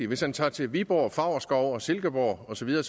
hvis han tager til viborg favrskov og silkeborg osv vil